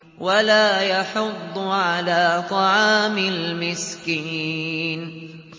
وَلَا يَحُضُّ عَلَىٰ طَعَامِ الْمِسْكِينِ